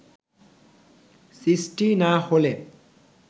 সৃষ্টি না হলে